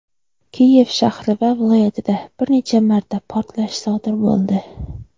Kiyev shahri va viloyatida bir necha marta portlash sodir bo‘ldi.